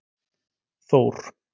Þór